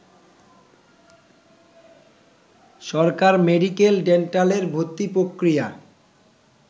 সরকার মেডিকেল-ডেন্টালের ভর্তি প্রক্রিয়া